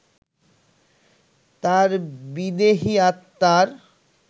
তাঁর বিদেহী আত্মার